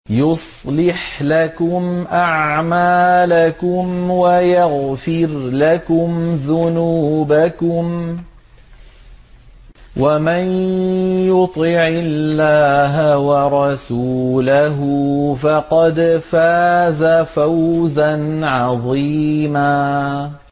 يُصْلِحْ لَكُمْ أَعْمَالَكُمْ وَيَغْفِرْ لَكُمْ ذُنُوبَكُمْ ۗ وَمَن يُطِعِ اللَّهَ وَرَسُولَهُ فَقَدْ فَازَ فَوْزًا عَظِيمًا